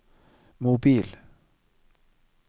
mobil